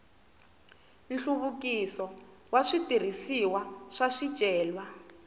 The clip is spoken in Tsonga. nhluvukiso wa switirhisiwa swa swicelwa